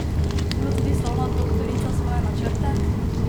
Ima tudi slavna doktorica svoje načrte?